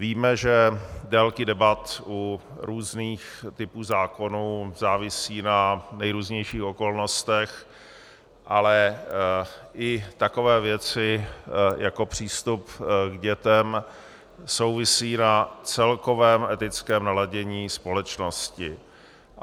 Víme, že délky debat u různých typů zákonů závisí na nejrůznějších okolnostech, ale i takové věci jako přístup k dětem souvisí s celkovým etickým naladěním společnosti.